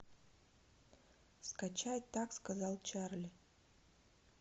скачать так сказал чарли